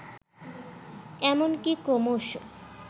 এমনকি ক্রমশ